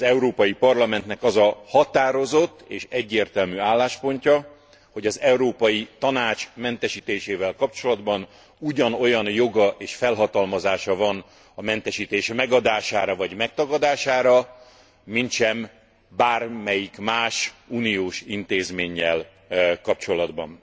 Az Európai Parlamentnek az a határozott és egyértelmű álláspontja, hogy az Európai Tanács mentesítésével kapcsolatban ugyanolyan joga és felhatalmazása van a mentesítés megadására vagy megtagadására, mintsem bármelyik más uniós intézménnyel kapcsolatban.